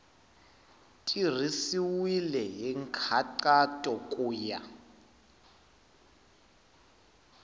tirhisiwile hi nkhaqato ku ya